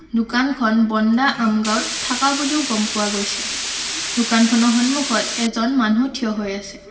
দোকানখন বন্দা আম গাওঁত থাকা বুলিও গম পোৱা গৈছে দোকানখনৰ সন্মূখত এজন মানু্হ থিয় হৈ আছে।